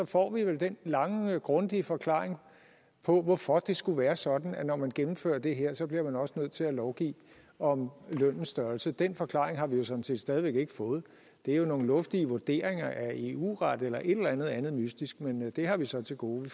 får vi vel den lange grundige forklaring på hvorfor det skulle være sådan at når man gennemfører det her bliver man også nødt til at lovgive om lønnens størrelse den forklaring har vi sådan set stadig ikke fået det er jo nogle luftige vurderinger af eu ret eller et eller andet andet mystisk men det har vi så til gode